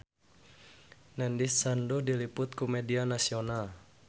Nandish Sandhu diliput ku media nasional